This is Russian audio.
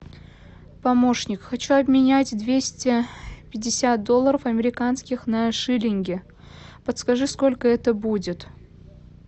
помощник хочу обменять двести пятьдесят долларов американских на шиллинги подскажи сколько это будет